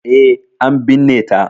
E, an binne ta.